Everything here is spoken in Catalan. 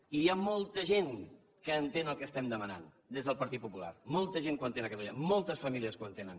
i hi ha molta gent que entén el que demanem des del partit popular molta gent que ho entén a catalunya moltes famílies que ho entenen